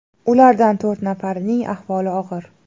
Ulardan to‘rt nafarining ahvoli og‘ir.